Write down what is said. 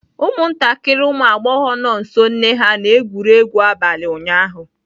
Ụmụntakịrị ụmụ agbọghọ nọ nso nne ha na-egwuri egwu n'abalị ụnyaahụ.